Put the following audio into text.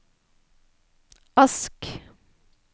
Ask